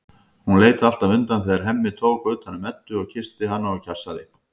Hún leit alltaf undan þegar Hemmi tók utan um Eddu og kyssti hana og kjassaði.